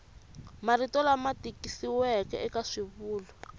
marito lama tikisiweke eka swivulwa